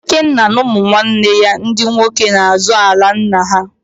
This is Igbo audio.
Ikenna na ụmụnwanne ya ndị nwoke na-azọ ala nna ha